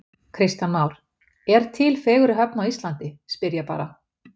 Kristján Már: Er til fegurri höfn á Íslandi, spyr ég bara?